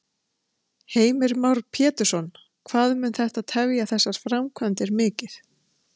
Heimir Már Pétursson: Hvað mun þetta tefja þessar framkvæmdir mikið?